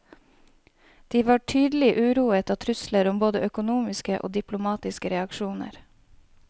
De var tydelig uroet av trusler om både økonomiske og diplomatiske reaksjoner.